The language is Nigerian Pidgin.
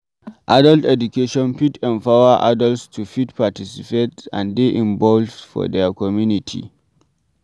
Adult education fit empower adults to fit participate and dey involved for their community